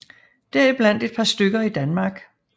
Deriblandt et par stykker i Danmark